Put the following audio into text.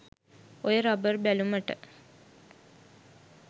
ඔය රබර් බැලුමට